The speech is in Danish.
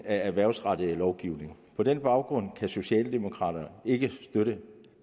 af erhvervsrettet lovgivning på den baggrund kan socialdemokraterne ikke støtte